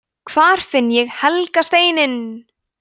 hvar finn ég „helga steininn“!